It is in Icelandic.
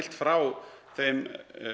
frá þeim